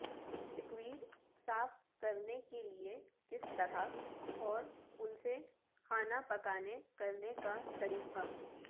squid صاف کرنے کے لئے کس طرح اور ان سے کھانا پکانا کرنے کا طریقہ